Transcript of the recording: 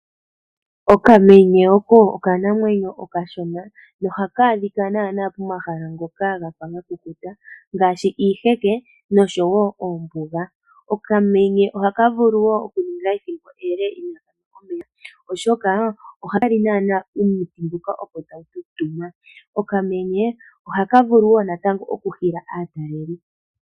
Okamenye oko okanamwenyo okashona, ohaka adhika pomahala ngoka haga kala gafa gakukuta ngaashi iiheke noshowo oombuga, okamenye ohaka vulu woo okuninga ethimbo ele inaakalya oshoka ohaka li omwiidhi ngoka opo tagu tutuma, okamenye ohaka vulu woo natango okuhila aatalelipo.